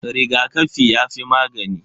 Rigakafi yafi magani.